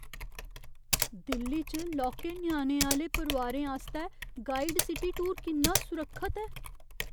दिल्ली च लौह्के ञ्याणें आह्‌ले परोआरें आस्तै गाइडड सिटी टूर किन्ना सुरक्खत ऐ?